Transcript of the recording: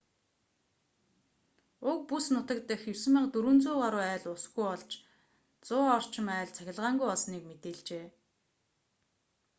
уг бүс нутаг дахь 9400 гаруй айл усгүй болж 100 орчим айл цахилгаангүй болсныг мэдээлжээ